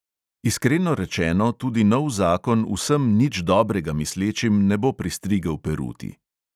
Iskreno rečeno tudi nov zakon vsem nič dobrega mislečim ne bo pristrigel peruti.